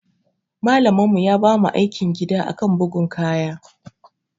Malamin mu ya bamu aikin gida akan bugun kaya.